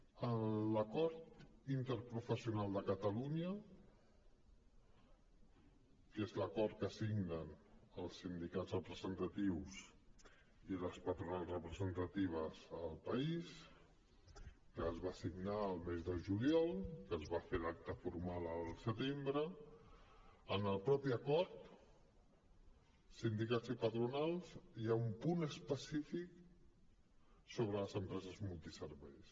en l’acord interprofessional de catalunya que és l’acord que signen els sindicats representatius i les patronals representatives al país que es va signar el mes de juliol que es va fer l’acte formal el setembre en el mateix acord sindicats i patronals hi ha un punt específic sobre les empreses multiserveis